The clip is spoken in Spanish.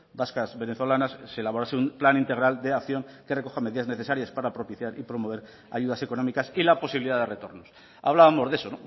vascas venezolanas se elaborase un plan integral de acción que recoja medidas necesarias para propiciar y promover ayudas económicas y la posibilidad de retornos hablábamos de eso